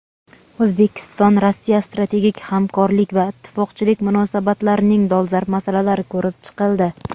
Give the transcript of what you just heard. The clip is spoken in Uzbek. O‘zbekiston-Rossiya strategik hamkorlik va ittifoqchilik munosabatlarining dolzarb masalalari ko‘rib chiqildi.